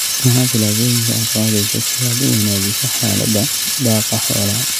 Maxaa tillaabooyinka aad qaadaysaa si aad u wanaajiso xaaladda daaqa xoolaha?